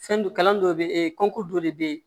Fɛn do kalan dɔ bɛ e kɔntɔ dɔ le bɛ ye